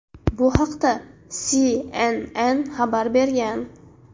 Bu haqda CNN xabar bergan .